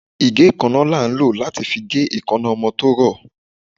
Ìgé-kánná la ń lo latí fí gé èkáná ọmọ to rọ